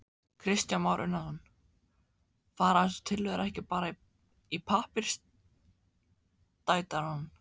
Kristján Már Unnarsson: Fara þessar tillögur ekki bara í pappírstætarann?